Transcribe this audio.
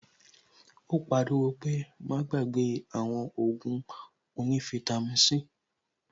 Ó pariwo pé "Má gbàgbé àwọn Ògùn onífítàmì"